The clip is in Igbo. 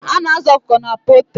A na-azụ ọkụkọ na pọltrị.